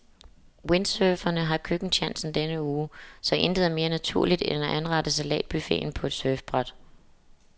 Windsurferne har køkkentjansen denne uge, så intet er mere naturligt end at anrette salatbuffeten på et surfbræt.